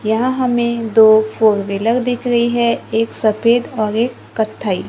यहां हमें दो फोर व्हीलर दिख रही है एक सफेद और एक कत्थई--